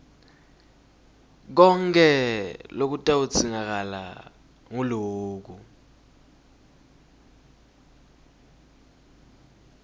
konkhe lokutawudzingakala nguloku